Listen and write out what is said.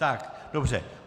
Tak, dobře.